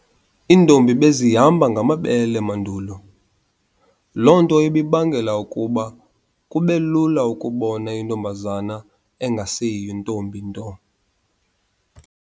Intombi bezihamba ngamabele mandulo. Lonto ibibangela ukuba kubelula ukubona intombazana engaseyiyo intombi nto.